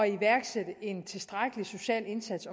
iværksætte en tilstrækkelig social indsats